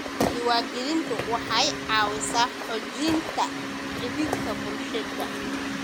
Diiwaangelintu waxay caawisaa xoojinta xidhiidhka bulshada.